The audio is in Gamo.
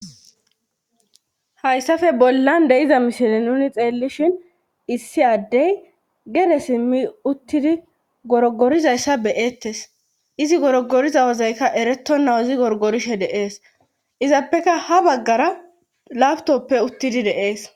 Hayssafe bollan de iza mishile nuni xeellishhin issi addey gere simmi uttidi gorogorizayssa beyettes izi gorogoriza wozeyka ereto naw izi gorogorishe deees izappeka ha baggara labtoppe uttidi deees.